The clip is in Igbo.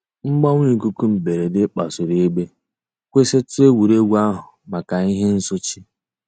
Mgbanwe íkúkụ̀ mbèrèdè kpasùrù ègbè, kwụsị̀tù ègwè́ré́gwụ̀ àhụ̀ mǎká íhè nsòché.